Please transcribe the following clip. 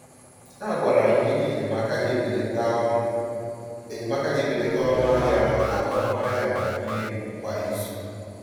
A gwara anyị na-ego enyemaka ga-ebelata ọnụ enyemaka ga-ebelata ọnụ ahịa mana ọnụ ahịa na-arị elu kwa izu.